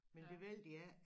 Men det ville de ikke